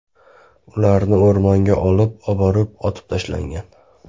Ularni o‘rmonga olib borib, otib tashlagan.